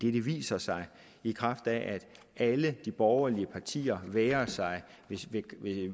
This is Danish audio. viser sig i kraft af at alle de borgerlige partier vægrer sig ved